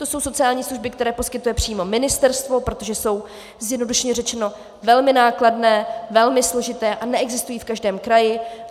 To jsou sociální služby, které poskytuje přímo ministerstvo, protože jsou zjednodušeně řečeno velmi nákladné, velmi složité a neexistují v každém kraji.